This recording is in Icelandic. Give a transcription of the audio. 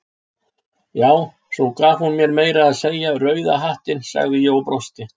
Já, svo gaf hún mér meira að segja rauða hattinn, sagði ég og brosti.